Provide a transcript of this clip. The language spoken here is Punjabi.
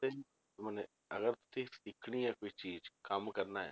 ਮਨੇ ਅਗਰ ਤੁਸੀਂ ਸਿੱਖਣੀ ਆ ਕੋਈ ਚੀਜ਼ ਕੰਮ ਕਰਨਾ